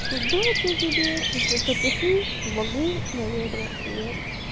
удачи тебе если что пиши помогу наверно нет